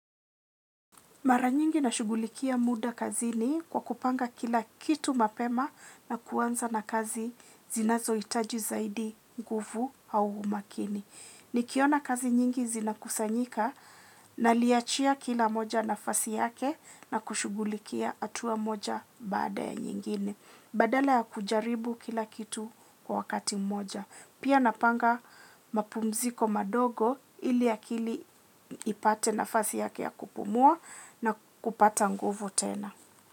Mara nyingi na shughulikia muda kazini kwa kupanga kila kitu mapema na kuanza na kazi zinazo hitaji zaidi nguvu au makini. Nikiona kazi nyingi zinakusanyika naliachia kila moja nafasi yake na kushughulikia hatua moja baada ya nyingine. Badala ya kujaribu kila kitu kwa wakati mmoja. Pia napanga mapumziko madogo ili akili ipate nafasi yake ya kupumua na kupata nguvu tena.